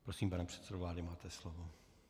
Prosím, pane předsedo vlády, máte slovo.